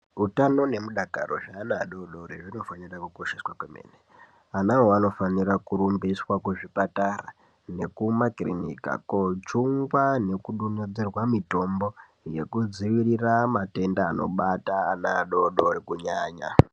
Utano nemudakaro zveana adoddori zvinofanira kukosheswa kwemene anawo anofanira kurumbiswa kuzvipatara nekumakirinika kojungwa nekudonhedzerwa mitombo yekudzivirira matenda anobata ana adodori kunyanya.